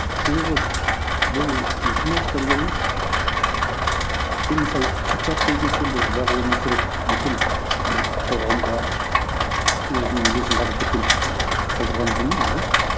себебі бұл математика дегеніміз енді мысалы патшалық дейтін нәрсе енді ол ұзақ өмір сүріп бүкіл бір қоғамға өзінің үлесін қалдырып кеткен қалдырған дүние ғой